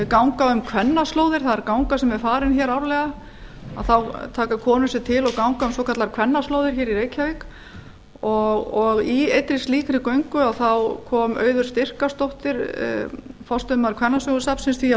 ganga um kvennaslóðir það er ganga sem er farin árlega þá taka konur sig til og ganga um svokallaðar kvennaslóðir í reykjavík og í einni slíkri göngu kom auður styrkársdóttir forstöðumaður kvennasögusafnsins því á framfæri